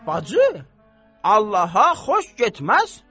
Bacı, Allaha xoş getməz.